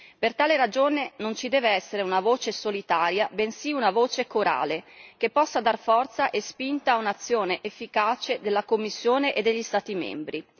Per tale ragione, non ci deve essere una voce solitaria, bensì una voce corale che possa dar forza e spinta a un'azione efficace della Commissione e degli Stati membri.